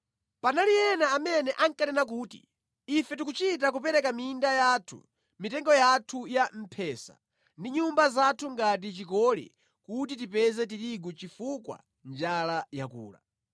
Panali ena amene ankanena kuti, “Ife tikuchita kupereka minda yathu, mitengo yathu ya mphesa ndi nyumba zathu ngati chikole kuti tipeze tirigu chifukwa njala yakula.”